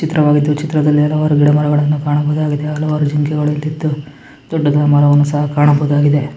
ಚಿತ್ರವಾಗಿದ್ದು ಈ ಚಿತ್ರದಲ್ಲಿ ಹಲವಾರು ಗಿಡ ಮರಗಳ್ಳನ್ನು ಕಾಣಬಹುದಾಗಿದೆ ಹಲವಾರು ಜಿಂಕೆಗಳು ಓಡುತಿದ್ದು ದೊಡ್ಡದಾದ ಮರವನ್ನು ಸಹ ಕಾಣಬಹುದಾಗಿದೆ .